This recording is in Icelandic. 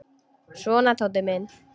Svona, Tóti minn.